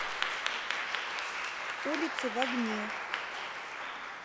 улицы в огне